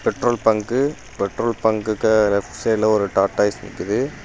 Petrol bunk petrol பங்குக்கு left side ஒரு Tata Ace நிக்குது.